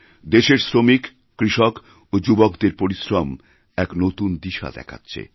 দেশের শ্রমিক কৃষক ও যুবকদের পরিশ্রম একনতুন দিশা দেখাচ্ছে